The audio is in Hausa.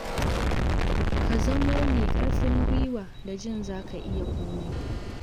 Ka zamo mai ƙarfin guiwa da jin za ka iya komai.